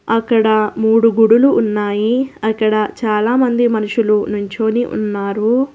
అక్కడ మూడు గుడులు ఉన్నాయి అక్కడ చాలామంది మనుషులు నించొని ఉన్నారు.